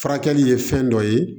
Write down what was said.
Furakɛli ye fɛn dɔ ye